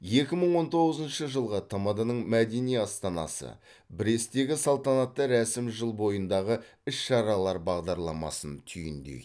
екі мың он тоғызыншы жылғы тмд ның мәдени астанасы бресттегі салтанатты рәсім жыл бойындағы іс шаралар бағдарламасын түйіндейді